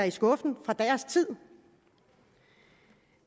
i skuffen fra deres tid